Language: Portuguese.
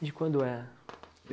De quando é?